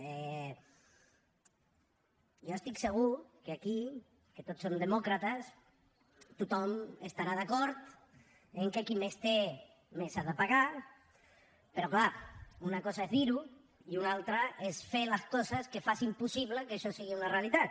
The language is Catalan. jo estic segur que aquí que tots som demòcrates tothom estarà d’acord que qui més té més ha de pagar però clar una cosa és dir ho i una altra és fer les coses que facin possible que això sigui una realitat